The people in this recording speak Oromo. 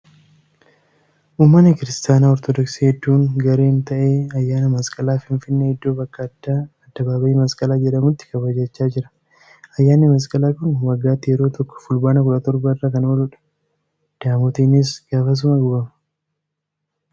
Uummanni Kiristaana Ortoodoksii hedduun gareen ta'ee ayyaana masqalaa Finfinnee iddoo bakka addaa addababa'ii masqalaa jedhamuttu kabajachaa jira. Ayyaanni masqalaa kun waggaatti yeroo tokko fulbaana 17 irra kan ooluudha. Daamootiinis gaafasuma gubama.